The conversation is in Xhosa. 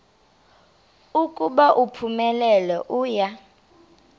ukuba uphumelele uya